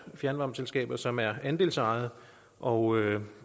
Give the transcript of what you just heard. fjernvarmeselskaber som er andelsejede og